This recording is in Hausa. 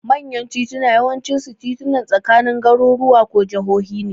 Manyan titunan yawancinsu titunan tsakanin garuruwa ko jahohi ne.